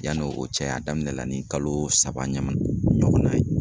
Yanni o cɛ a daminɛ la ni kalo saba ɲɔgɔnna ye